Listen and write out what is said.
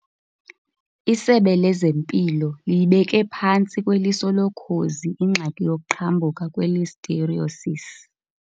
ISebe lezeMpilo liyibeke phantsi kweliso lokhozi ingxaki yokuqhambuka kwe-listeriosis.